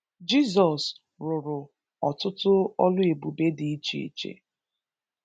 Jizọs rụrụ ọtụtụ ọlụ ebube dị iche iche